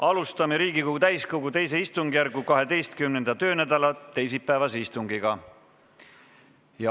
Alustame Riigikogu täiskogu II istungjärgu 12. töönädala teisipäevast istungit.